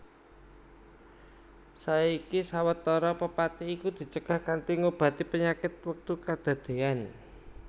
Saiki sawetara pepati iku dicegah kanthi ngobati panyakit wektu kedadéyan